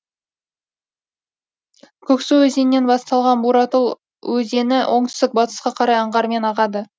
көксу өзенінен басталған буратал өзені оңтүстік батысқа қарай аңғармен ағады